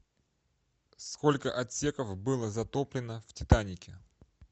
сколько отсеков было затоплено в титанике